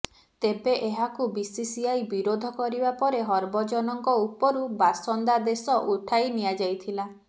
ତେବେ ଏହାକୁ ବିସିସିଆଇ ବିରୋଧ କରିବା ପରେ ହରଭଜନଙ୍କ ଉପରୁ ବାସନ୍ଦାଦେଶ ଉଠାଇ ନିଆଯାଇଥିଲା